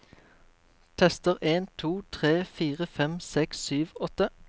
Tester en to tre fire fem seks sju åtte